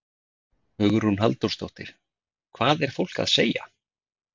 Hugrún Halldórsdóttir: Hvað er fólk að segja?